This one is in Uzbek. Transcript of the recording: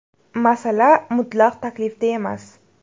Masala mutlaq taklifda emas.